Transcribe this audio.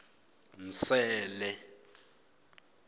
nsele